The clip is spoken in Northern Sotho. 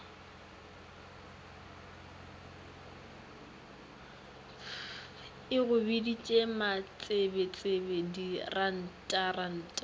e go biditše matsebetsebe dirantaranta